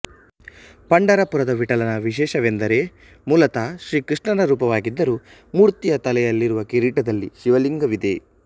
ಪಂಢರಪುರದ ವಿಠ್ಠಲನ ವಿಶೇಷವೆಂದರೆ ಮೂಲತಃ ಶ್ರೀಕೃಷ್ಣನ ರೂಪವಾಗಿದ್ದರೂ ಮೂರ್ತಿಯ ತಲೆಯಲ್ಲಿರುವ ಕಿರೀಟದಲ್ಲಿ ಶಿವಲಿಂಗವಿದೆ